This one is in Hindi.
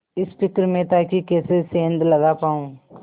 इस फिक्र में था कि कैसे सेंध लगा पाऊँ